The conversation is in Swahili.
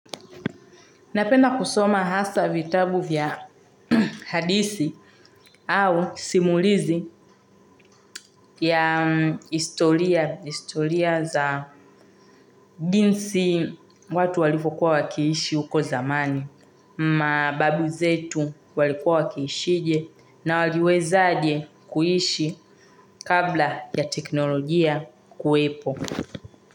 Napenda kusoma hasaa vitabu vya hadithi au simulizi ya historia za jinsi watu walivyokuwa wakiishi huko zamani. Mababu zetu walikuwa wakiishije na waliwezaje kuishi kabla ya teknolojia kuwepo.